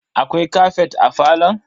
Akwai kafet a falon?